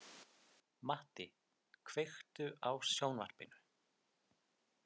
Matti, kveiktu á sjónvarpinu.